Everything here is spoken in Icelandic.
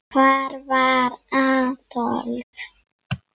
Hvar var Adolf?